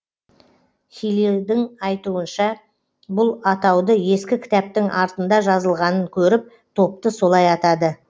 хилидің айтуынша бұл атауды ескі кітаптың артында жазылғанын көріп топты солай атады